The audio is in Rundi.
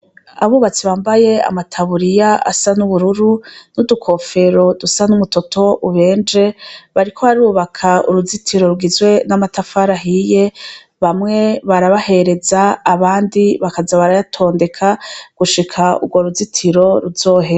Abubatsi bambaye amataburiya asa n'ubururu, n'udukofero dusa n'umutoto ubenje, bariko barubaka uruzitiro n'amatafari ahiye, bamwe barayahereza ahandi bakaza barayatondeka gushika urwa ruzitiro ruzohere.